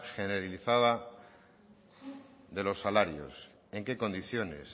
generalizada de los salarios en qué condiciones